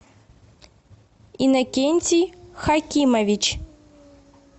иннокентий хакимович